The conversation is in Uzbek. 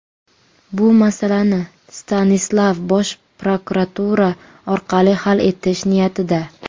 Bu masalani Stanislav bosh prokuratura orqali hal etish niyatida.